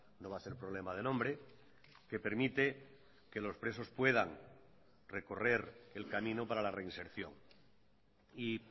no va a ser problema de nombre que permite que los presos puedan recorrer el camino para la reinserción y